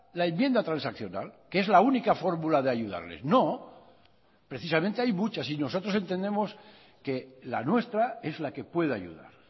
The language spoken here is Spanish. la enmienda transaccional que es la única fórmula de ayudarles no precisamente hay muchas y nosotros entendemos que la nuestra es la que puede ayudar